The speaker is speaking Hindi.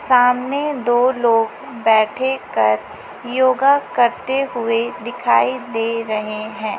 सामने दो लोग बैठे कर योगा करते हुए दिखाई दे रहे हैं।